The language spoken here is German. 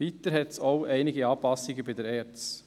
Weiter hat es auch einige Anpassungen bei der ERZ.